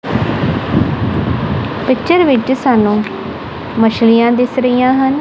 Picture ਵਿੱਚ ਸਾਨੂੰ ਮਛਲੀਆਂ ਦਿਸ ਰਹੀਆਂ ਹਨ।